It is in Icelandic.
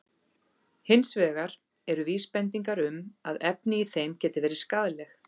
Hins vegar eru vísbendingar um að efni í þeim geti verið skaðleg.